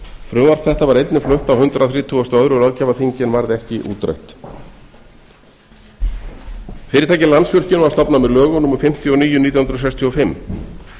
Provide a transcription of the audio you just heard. frumvarp þetta var einnig flutt á hundrað þrítugasta og öðrum löggjafarþingi en varð ekki útrætt fyrirtækið landsvirkjun var stofnað með lögum númer fimmtíu og níu nítján hundruð sextíu og fimm